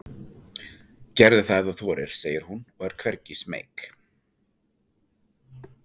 Gerðu það ef þú þorir, segir hún og er hvergi smeyk.